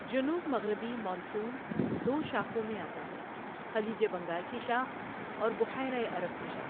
جنوب مغربی مانسون دو شاخوں میں آتا ہے خلیج بنگال کی شاخ اور بحیرہ عرب کی شاخ ۔